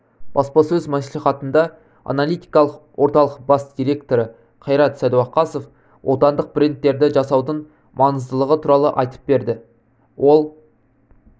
баспасөз мәслихатында аналитикалық орталық бас директоры қайрат сәдуақасов отандық брендтерді жасаудың маңыздылығы туралы айтып берді ол